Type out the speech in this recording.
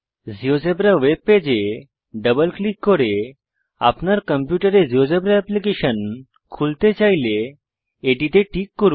GeoGebra ওয়েবপেজে double click করে আপনার কম্পিউটারে জীয়োজেব্রা এপ্লিকেশন খুলতে চাইলে এটিতে টিক করুন